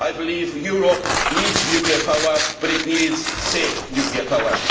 I believe Europe needs nuclear power, but it needs safe nuclear power.